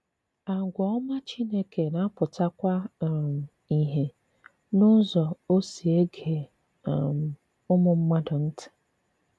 Àgwà òmá Chínèkè na-apụtakwà um ìhè n’ùzò ọ̀ si ege um ùmụ̀ mmàdù ntị.